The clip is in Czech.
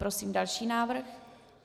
Prosím další návrh.